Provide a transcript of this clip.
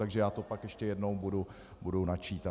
Takže já to pak ještě jednou budu načítat.